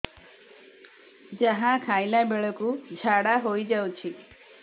ଯାହା ଖାଇଲା ବେଳକୁ ଝାଡ଼ା ହୋଇ ଯାଉଛି